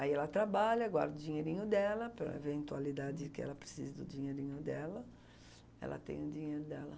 Aí ela trabalha, guarda o dinheirinho dela, para eventualidade que ela precise do dinheirinho dela, ela tem o dinheiro dela.